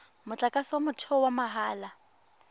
motlakase wa motheo wa mahala